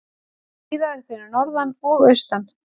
Skíðað fyrir norðan og austan